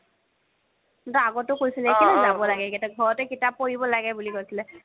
বা আগতো কৈছিলে কে'লেই যাব লাগে ঘৰতে কিতাপ পঢ়িব লাগে বুলি কৈছিলে